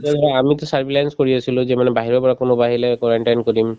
আমিতো কৰি আছিলো যে মানে বাহিৰৰ পৰা কোনোবা আহিলে quarantine কৰিম